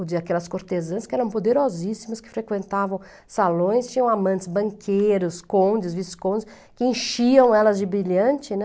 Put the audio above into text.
ou de aquelas cortesãs que eram poderosíssimas, que frequentavam salões, tinham amantes banqueiros, condes, viscondes, que enchiam elas de brilhante, né?